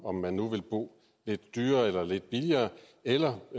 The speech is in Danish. om man nu vil bo lidt dyrere eller lidt billigere eller